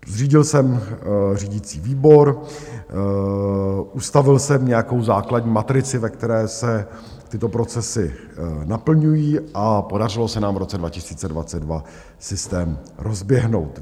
Zřídil jsem řídící výbor, ustavil jsem nějakou základní matrici, ve které se tyto procesy naplňují, a podařilo se nám v roce 2022 systém rozběhnout.